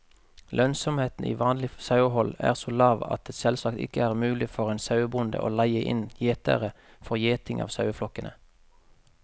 Lønnsomheten i vanlig sauehold er så lav at det selvsagt ikke er mulig for en sauebonde å leie inn gjetere for gjeting av saueflokkene.